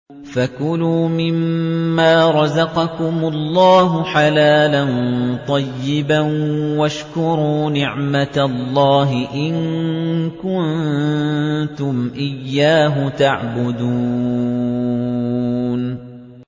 فَكُلُوا مِمَّا رَزَقَكُمُ اللَّهُ حَلَالًا طَيِّبًا وَاشْكُرُوا نِعْمَتَ اللَّهِ إِن كُنتُمْ إِيَّاهُ تَعْبُدُونَ